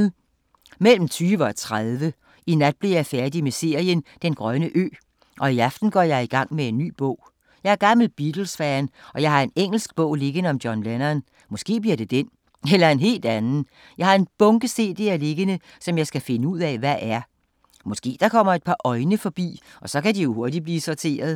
Mellem 20 og 30. I nat blev jeg færdig med serien Den grønne ø og i aften går jeg i gang med en ny bog. Jeg er gammel Beatles-fan og jeg har en engelsk bog liggende om John Lennon, måske bliver det den. Eller en helt anden. Jeg har en bunke cd'er liggende som jeg skal finde ud af hvad er. Måske der kommer et par øjne forbi, så kan de hurtigt blive sorteret.